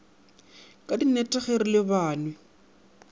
ka dinnete ge re lebanwe